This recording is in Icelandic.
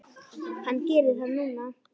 Hann gerir það núna.